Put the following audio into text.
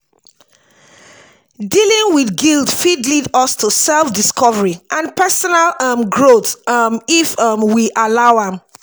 dealing with guilt fit lead us to self-discovery and personal um growth um if um we allow am.